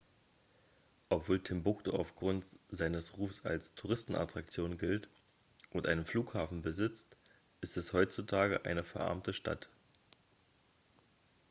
obwohl timbuktu aufgrund seines rufs als touristenattraktion gilt und einen flughafen besitzt ist es heutzutage eine verarmte stadt